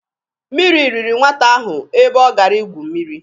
Mmiri riri nwata ahụ ebe ọ gara i gwu mmiri.